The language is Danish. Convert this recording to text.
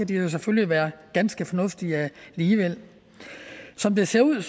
de selvfølgelig være ganske fornuftige alligevel som det ser ud